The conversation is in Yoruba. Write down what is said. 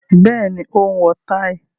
Bẹ́ẹ̀ni, ó wọ táì.